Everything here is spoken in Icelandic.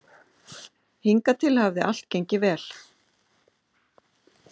Hingað til hafði allt gengið vel.